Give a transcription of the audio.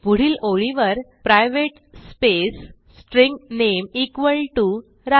पुढील ओळीवर private space string name Raju